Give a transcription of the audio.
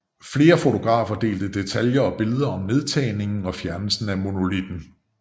Flere fotografer delte detaljer og billeder om nedtagningen og fjernelsen af monolitten